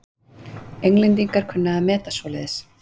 Englendingar kunna að meta svoleiðis.